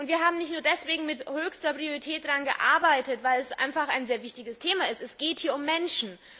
Wir haben auch deswegen mit höchster Priorität daran gearbeitet, weil es einfach ein sehr wichtiges Thema ist Es geht hier um Menschen.